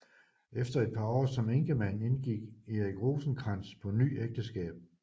Efter et par år som enkemand indgik Erik Rosenkrantz på ny ægteskab